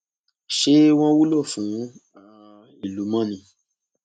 ṣé wọn wúlò fún um ìlú mọ ni